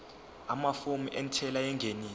amafomu entela yengeniso